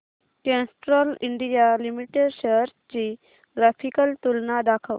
Castrol India limited shares ची graphical तुलना दाखव